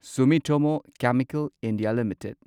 ꯁꯨꯃꯤꯇꯣꯃꯣ chemical India limited